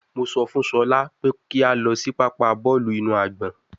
Mo sọ fun Shola pe ki a lọ si papa bọọlu inu agbọn